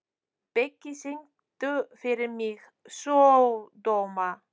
Biggi, syngdu fyrir mig „Sódóma“.